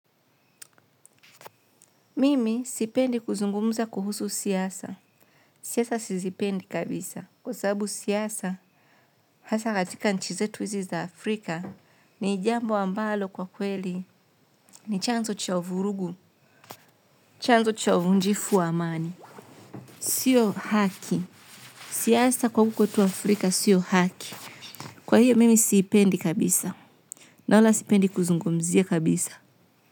Mimi sipendi kuzungumuza kuhusu siasa. Siyasa sizipendi kabisa. Kwa sababu siasa, hasa katika nchi zetu wizi za Afrika, ni jambo ambalo kwa kweli ni chanzo cha vurugu. Chanzo cha uvunjifu wa amani. Sio haki. Siasa kwa huku kwetu Afrika, sio haki. Kwa hiyo, mimi siipendi kabisa. Na wala sipendi kuzungumuzia kabisa.